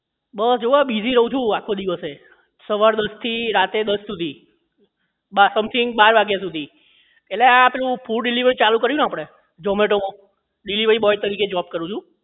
બસ જો આ busy રહું છું આખો દિવસે સવાર દસ થી રાતે દસ થી something બાર વાગ્યા સુધી એટલે આ પેલું food delivery નું ચાલુ કર્યું ને આપણે zomato માં delivery boy તરીકે જોબ કરું છું